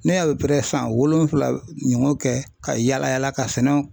Ne y'a san wolonfila ɲɔgɔn kɛ ka yala yala ka sɛnɛw